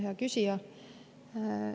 Hea küsija!